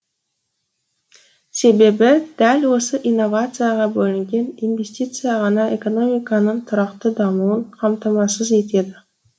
себебі дәл осы инновацияға бөлінген инвестиция ғана экономиканың тұрақты дамуын қамтамасыз етеді